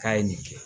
K'a ye nin kɛ